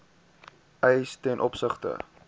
eise ten opsigte